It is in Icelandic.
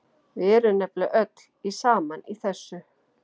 Við erum nefnilega öll saman í þessu.